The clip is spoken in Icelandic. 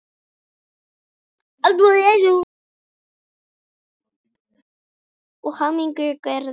Gyðjur tónlistar gætu haft að kennitákni hljóðfæri eða eitthvað annað sem tengist tónlist.